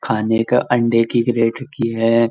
खाने का अंडे की किरेट रखी है।